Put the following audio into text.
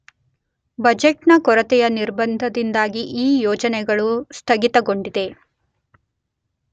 budget ನ ಕೊರತೆಯ ನಿರ್ಬಂಧದಿಂದಾಗಿ ಈ ಯೋಜನೆಗಳು ಸ್ತಗಿತಗೊಂಡಿದೆ